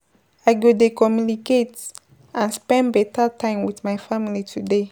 I go dey communicate and spend beta time with my family today.